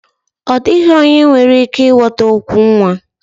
Ọ dịghị onye nwere ike ịghọta okwu nwa